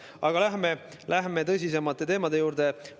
Aga lähme tõsisemate teemade juurde.